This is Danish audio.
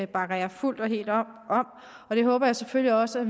bakker jeg fuldt og helt op om og jeg håber selvfølgelig også at